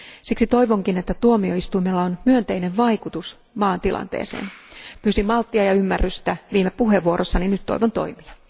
Siksi toivonkin, että tuomioistuimella on myönteinen vaikutus maan tilanteeseen. Pyysin malttia ja ymmärrystä viime puheenvuorossani, nyt toivon toimia.